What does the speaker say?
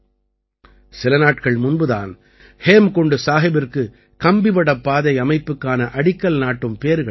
சில நாட்கள் முன்பு தான் ஹேம்குண்ட் சாஹிபிற்கு கம்பிவடப் பாதை அமைப்புக்கான அடிக்கல் நாட்டும் பேறு கிடைத்தது